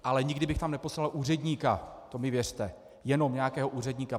Ale nikdy bych tam neposlal úředníka, to mi věřte, jenom nějakého úředníka.